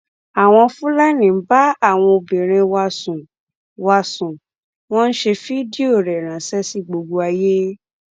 àwọn fúlàní ń bá àwọn obìnrin wa sùn wa sùn wọn ń ṣe fídíò rẹ ránṣẹ sí gbogbo ayé